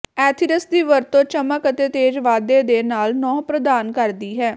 ethers ਦੀ ਵਰਤੋਂ ਚਮਕ ਅਤੇ ਤੇਜ਼ ਵਾਧੇ ਦੇ ਨਾਲ ਨਹੁੰ ਪ੍ਰਦਾਨ ਕਰਦੀ ਹੈ